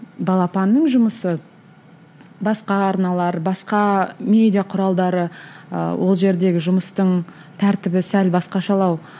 балапанның жұмысы басқа арналар басқа медиа құралдары ыыы ол жердегі жұмыстың тәртібі сәл басқашалау